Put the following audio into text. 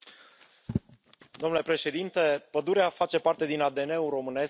Domnule președinte, pădurea face parte din ADN ul românesc și european.